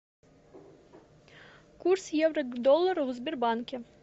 курс евро к доллару в сбербанке